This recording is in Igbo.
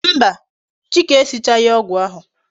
Mba, chike e sichaghi ogwu ahu